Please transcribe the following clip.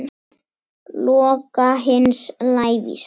Loka hins lævísa.